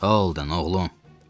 Oh, Holden, oğlum!